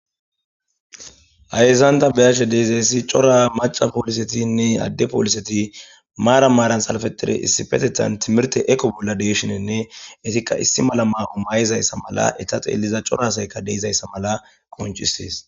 ayezanta beyashe deizayssi cora maca poolisetinne adde pooliseti maara maaran salfetire issi petetan timirte eko bolla deeshinenne etikka issi malama o maay7izayssa mala eta xeelliza corasayka deizayssa mala konchissees